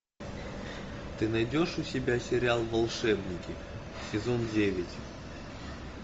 ты найдешь у себя сериал волшебники сезон девять